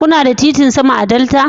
Kuna da titin sama a Delta?